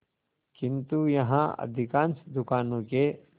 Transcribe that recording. किंतु यहाँ अधिकांश दुकानों के